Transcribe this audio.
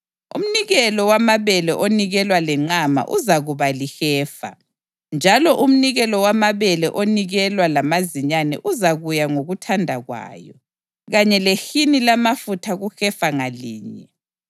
Umnikelo wamabele onikelwa lenqama uzakuba lihefa, njalo umnikelo wamabele onikelwa lamazinyane uzakuya ngokuthanda kwayo, kanye lehini lamafutha kuhefa ngalinye.